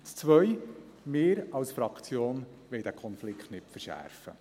Das Zweite: Wir als Fraktion wollen diesen Konflikt nicht verschärfen.